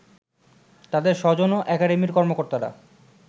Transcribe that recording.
তাদের স্বজন ও একাডেমির কর্মকর্তারা